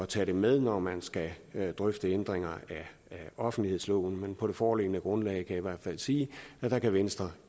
tage det med når man skal drøfte ændringer af offentlighedsloven på det foreliggende grundlag kan jeg i hvert fald sige at venstre